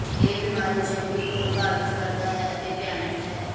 ਇਹ ਬਿਮਾਰੀ ਚਮੜੀ ਨੂੰ ਪ੍ਰਭਾਵਿਤ ਕਰਦਾ ਹੈ ਅਤੇ ਭਿਆਨਕ ਹੈ